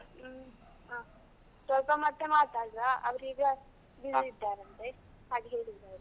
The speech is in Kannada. ಹ್ಮ್ ಹಾ ಸ್ವಲ್ಪ ಮತ್ತೆ ಮಾತಾಡುವ, ಅವರು ಈಗ busy ಇದ್ದಾರೆ ಅಂತೆ ಹಾಗ್ ಹೇಳಿದ್ರು ಅವರು.